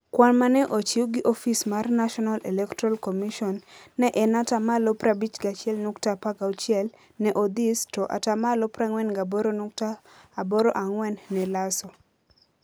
Kwan ma ne ochiw gi ofis mar National Electoral Commission ne en 51.16% neOdhis to 48.84% ne Lasso.